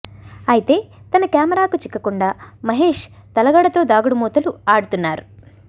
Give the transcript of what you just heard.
అయితే తన కెమెరాకు చిక్కకుండా మహేశ్ తలగడతో దాగుడు మూతలు ఆడుతున్నారు